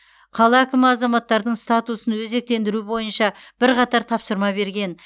қала әкімі азаматтардың статусын өзектендіру бойынша бірқатар тапсырма берген